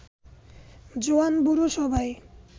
জোয়ান-বুড়ো সবাই